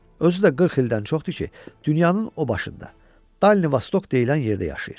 Özü də 40 ildən çoxdur ki, dünyanın o başında, Dalnivostok deyilən yerdə yaşayır.